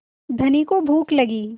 धनी को भूख लगी